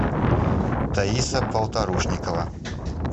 таиса полторушникова